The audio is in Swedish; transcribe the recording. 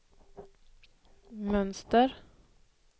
mönster